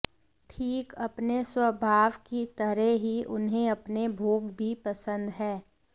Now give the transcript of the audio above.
ठीक अपने स्वभाव की तरह ही उन्हें अपने भोग भी पसंद हैं